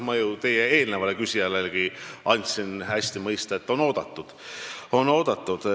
Ma ju eelnevalegi küsijale andsin mõista, et ta on oodatud.